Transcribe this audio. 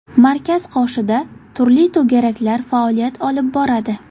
Markaz qoshida turli to‘garaklar faoliyat olib boradi.